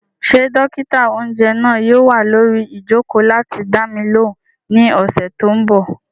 Ṣé dókítà-oúnjẹ náà yóò wà lórí ìjòkó láti dá mi lóhùn ní ọ̀sẹ̀ tó n bọ̀?